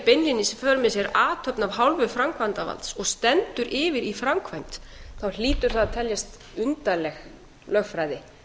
för með sér athöfn af hálfu framkvæmdarvalds og stendur yfir í framkvæmd þá hlýtur það að teljast undarleg lögfræði